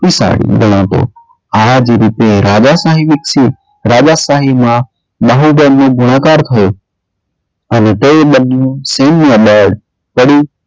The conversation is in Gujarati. શક્તિશાળી ગણાતો. આજ રીતે રાજાશાહી વિકસી રાજાશાહીમાં બાહુબળ નો ગુણાકાર થયો અને તે બધું સૈન્યદળ પડી,